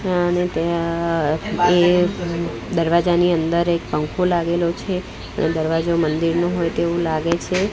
અને ત્યાં એક દરવાજાની અંદર એક પંખો લાગેલો છે એ દરવાજો મંદિરનું હોય તેવું લાગે છે.